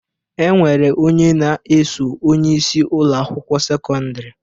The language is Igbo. E nwere onye na-eso onyeisi Ụlọ akwụkwọ sekọndrị